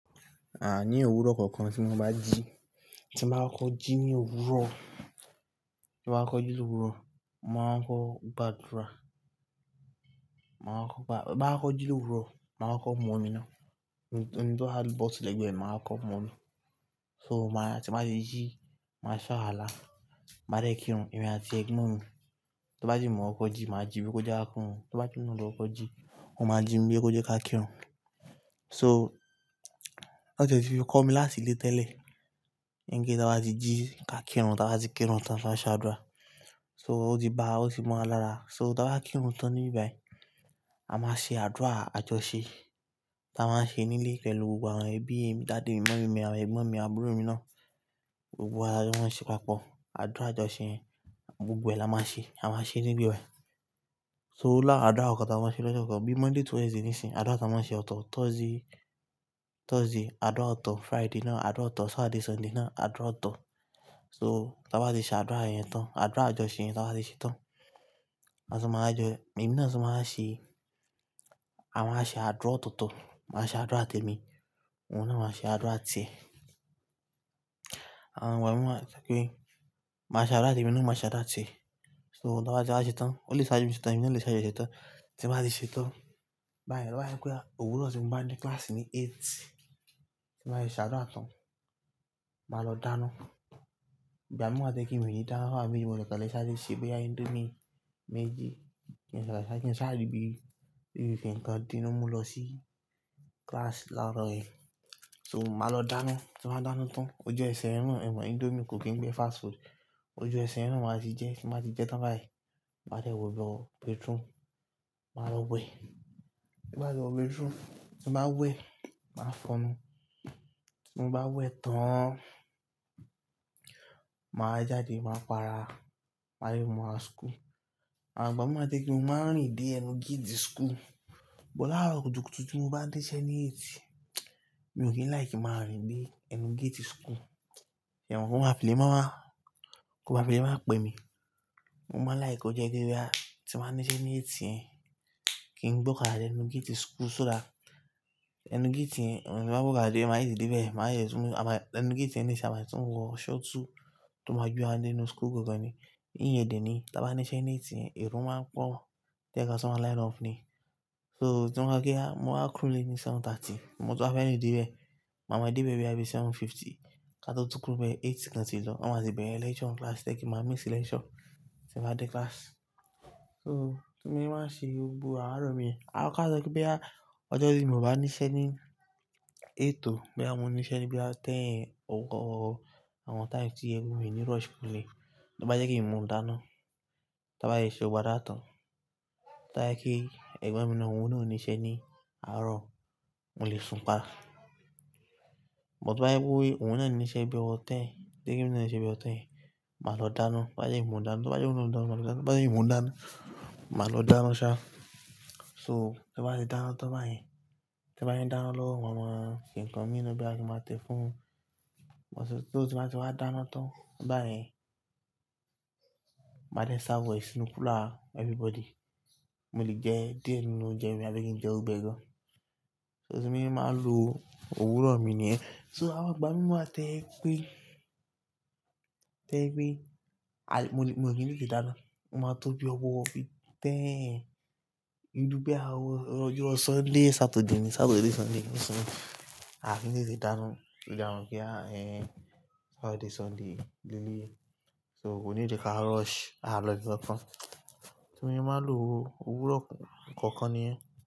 A ní òwúrọ̀ kọ̀ọ̀kan tí mo bá jí, tí n bá kọkọ jí ní òwúrọ̀, tí mo bá kọkọ jí ní òwúrọ̀, mo màá kọkọ gbàdúrà. Máa kọkọ gbà, bá kọkọ jí ní òwúrọ̀, màá kọ mọ́ omi náà. Ohun tó há ri bọti again, màá kọkọ mú omi. So màá tí màá ṣe jí, màá ṣe áwàlá, máa dẹ́ kírun, èmi àti ẹgbọ́n mi. Tó bá jẹ́ mo kọkọ jí, màá jí pé kọ́ já akun rún. Tó bá jẹ́ òun ló kọ jí, òun máa jí mi bí kọ́ já kírun. So lọ́jọ́ tí fi kọ́ mi láti ilé tẹ́lẹ̀, níń kí táa báa tí jí ká kírun, táa báa tí kírun tán, káa ṣa àdúrà. So ó ti ba, ó sì mọ́ wa lára. So táa bá kírun tán níbí báyìí, a máa ṣe àdúrà àjọṣe. Táa máa ṣe nílé pẹ̀lú gbogbo àwọn ẹbí mi, daddy mí munny mi, àwọn ẹ̀gbọ́n mi, àbúrò mi náà. Gbogbo wa lajọ máa ń ṣe papọ̀. Àdúrà àjọṣe gbogbo ẹ là máa ṣe, a máa ṣe níbí báyìí. So lá awọn àdúrà kọọkan táa máa ṣe lọ́jọ́ kan, bí Monday to Wednesday níṣín, àdúrà táa máa ṣe ọ̀tọ̀. Thursday, Thursday àdúrà ọ̀tọ̀, Friday náà àdúrà ọ̀tọ̀, Saturday, Sunday náà àdúrà ọ̀tọ̀. So táa bá ṣe ṣe àdúrà yẹn tán, àdúrà àjọṣe táa bá ṣe tán, à máa jẹ́. Ẹ̀mí náà tún máa ṣe, a máa ṣe àdúrà ọ̀tọ̀ọ̀tọ̀, màá ṣe àdúrà témi, òun náà máa ṣe àdúrà tẹ. Àwọn igbà mí wá tó pé màá ṣe àdúrà témi, òun náà máa ṣe àdúrà tẹ. So táa bá ṣe àṣẹ tán, olè sáájú mi ṣe tán, èmi náà lè ṣáájú ẹ ṣe tán. Tí màá ti ṣe tán, bá yẹ̀, bá yẹ̀ à, òwúrọ̀ tí mo bá ní kíláàsì ní eight, tí nba ti ṣe àdúrà tán, màá lọ dáná. Ìgbá mi máa tẹ̀ pé mi ni dáná, bá mu me jí lè kálẹ̀ sááre ìṣí, bí i indomie méjì kí n sá àrí bí i di kan dínú mú lọ sí kíláàsì láàárọ̀ yẹn. So màá lọ dáná, tí màá dáná tán, ojú ẹsẹ̀ hẹn náà, ẹ̀mo indomie kò kí n gbẹ̀ fast food. Ojú ẹsẹ̀ hẹn naa màá ti jẹ, tí màá ti jẹ tán báyìí, màá dẹ́ wọ bọ́ o béètún, màá lọ wẹ̀. Tí bá ti wọ béètún, tí n bá wẹ̀, màá fọnú. Tí mo bá wẹ̀ tán, màá jáde, màá para, màá dẹ̀ mu, rà skú. Àwọn igbà mi máa tẹ̀ pé yẹ n máa rìn dé ẹnu géètì síkú. Bọ́ láàárọ̀ kùtùkùtù tí mo bá dé iṣẹ́ ní eight, mi ò kí ń like kìí rìn dé ẹnu géètì síkú. Ìyẹ̀wù fún máa fi ilẹ̀ máa wá, kó máa fi ilẹ̀ máa pẹ́ mi. Mo máa like kọ jẹ́ kí wíwá, tí màá níṣẹ́ ní eight yẹn, kí n gbóka dé ẹnu géètì síkú só dà. Ẹnu géètì yẹn tí mo bá gbóka dé, màá yí sìdí bẹ́ẹ̀, màá yẹ súnmọ́, àmá ẹnu gẹ́ẹ̀tì yẹn ní ìṣẹ́, àmá tún wọ ṣọ́ọ̀tù tó máa ju wá dé inú síkú gogoni. Íyọ̀de ni, tí a bá níṣẹ́ ní eight yẹn, é èrò máa pọ̀, tẹ́ kí a sì máa line up ni. So tí wọ́n bá gé á, mo máa kúrú lé ní aago méje ààbọ̀. Mo sì bá fẹ́ rìn dé bẹ́ẹ̀, màá ma dé bẹ́ẹ̀ bí a bá ṣe aago mẹ́jọ ó dín ìṣẹ́jú mẹ́wàá. Ká tó túkú bẹ́ẹ̀, aago mẹ́jọ kí n tó lọ. Wọ́n máa ti bẹ̀rẹ̀ lecture ní kíláàsì tẹ́ kí màá miss lecture tí màá dé kíláàsì. So tí mo bá ṣe gbogbo àárọ̀ mi yẹn, a máa kọ́ a tẹ́ pé bí i ọjọ́ tí mo bá níṣẹ́ ní eight ò, bí i bá mú níṣẹ́ ní bí i aago mẹ́wàá, òun tọ́ àwọn time tí ẹgbọn mi ní rush fún lé, táa bá jẹ́ kí n mú un dáná, táa bá yẹ ṣe gbàdúrà tán. Táa yẹ kí ẹ̀gbọ́n mi náà, òun náà ò níṣẹ́ ní àárọ̀, mò lè sùn pa. But bá yẹ pé òun náà níṣẹ́ bí i ọwọ 10, tí ẹgbọn mi náà níṣẹ́ bí i ọtán, màá lọ dáná. Bá yẹ kí n mú un dáná, tó bá yẹ kí òun lọ mú mi dáná, bá yẹ kí n mú un dáná, màá lọ dáná ṣá. So tí màá ṣe dáná tán báyìí, tí màá ṣe dáná lọ́wọ́ àwọn kìnkín mi níbí bá ti máa tẹ fún, mo sì tó tí màá ṣe máa dáná tán báyìí, màá rẹ́ sáwọ̀ ẹ́ sínú kúlà everybody. Mo lè jẹ díè nínú oúnjẹ mi á bí i kí n jẹun gbẹ gan. So tí mo bá ṣe máa lo òwúrọ̀ mi nìyẹn. So àwọn àgbà mí máa tẹ̀ pé, tẹ̀ pé àyè mo sì nílẹ̀ kí n dáná, mo máa tó bí ọwọ́ bí i 10:00. Ìlú bíi àwọn ọjọ́ Sunday, Saturday ni, Saturday, Sunday ló súnmọ́. A sì nílẹ̀ kí n dáná, ló jẹ àárùn kí a ẹ̀, Saturday, Sunday lé lé. So kò nílẹ̀ kí a rush, a lọ̀yí bí kankan. Tí mo bá ṣe máa lo òwúrọ̀ kọ̀ọ̀kan nìyẹn.